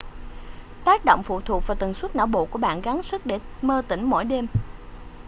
tác động phụ thuộc vào tần suất não bộ của bạn gắng sức để mơ tỉnh mỗi đêm